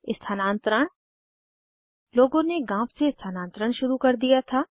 स्थानान्तरण लोगों ने गाँव से स्थानांतरण शुरू कर दिया था